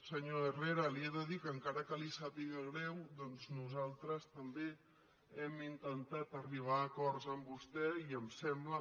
senyor herrera li he de dir que encara que li sàpi·ga greu doncs nosaltres també hem intentat arribar a acords amb vostè i em sembla